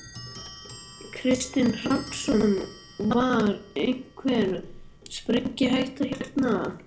Kristinn Hrafnsson: Var einhvern sprengihætta hérna?